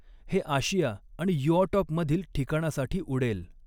हे आशिया आणि युऑटॉप मधील ठिकाणासाठी उडेल.